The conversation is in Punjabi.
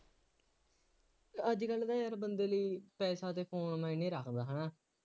ਅੱਜ ਕੱਲ੍ਹ ਤਾਂ ਯਾਰ ਬੰਦੇ ਨੂੰ ਪੈਸਾ ਅਤੇ ਫੋਨ ਮਾਇਨੇ ਰੱਖਦਾ ਹੈ ਨਾ,